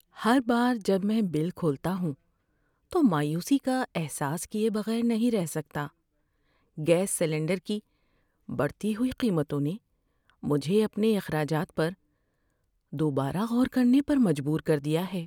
‏ہر بار جب میں بل کھولتا ہوں، تو مایوسی کا احساس کیے بغیر نہیں رہ سکتا۔ گیس سلنڈر کی بڑھتی ہوئی قیمتوں نے مجھے اپنے اخراجات پر دوبارہ غور کرنے پر مجبور کر دیا ہے۔